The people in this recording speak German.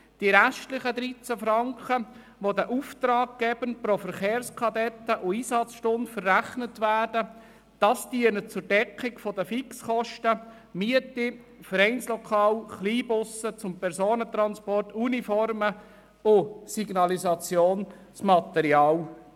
Die restlichen 13 Franken, die den Auftraggebern pro Verkehrskadett und Einsatzstunde verrechnet werden, dienen der Deckung von Fixkosten wie etwa der Miete von Vereinslokalen und Kleinbussen zum Personentransport oder dem Kauf von Uniformen und Signalisationsmaterial.